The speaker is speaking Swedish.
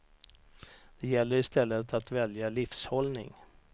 Det gäller i stället att välja livshållning.